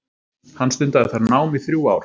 Hann stundaði þar nám í þrjú ár.